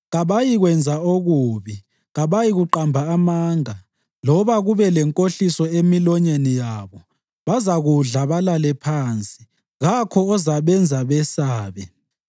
Kabayikwenza okubi; kabayikuqamba amanga, loba kube lenkohliso emilonyeni yabo. Bazakudla balale phansi, kakho ozabenza besabe.”